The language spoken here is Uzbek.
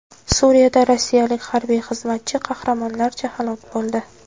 Suriyada rossiyalik harbiy xizmatchi qahramonlarcha halok bo‘ldi.